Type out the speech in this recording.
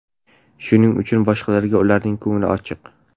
Shuning uchun boshqalarga ularning ko‘ngli ochiq.